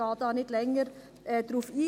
Ich gehe hier nicht länger darauf ein;